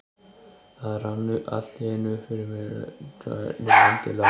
Það rann allt í einu upp fyrir mér hvernig landið lá.